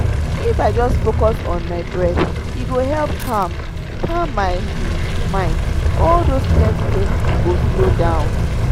if i just focus on my breath e go help calm calm my um mind — all those plenty thoughts go slow down.